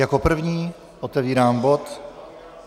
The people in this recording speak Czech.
Jako první otevírám bod